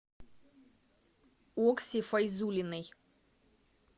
окси файзуллиной